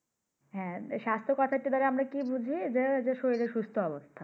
হ্যাঁ স্বাস্থ্য কথাটা দ্বারা আমরা কি বুঝি যে শরীরের সুস্থ অবস্থা।